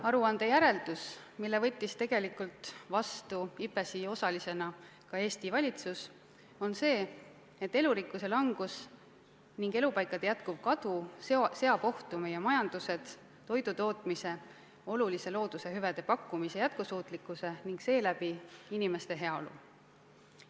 Aruande järeldus, mille võttis tegelikult vastu IPBES-i osalisena ka Eesti valitsus, on see, et elurikkuse langus ning elupaikade jätkuv kadu seab ohtu meie majanduse, toidu tootmise, looduse hüvede pakkumise jätkusuutlikkuse ning seeläbi inimeste heaolu.